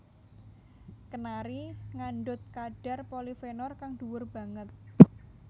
Kenari ngandhut kadhar polifenol kang dhuwur banget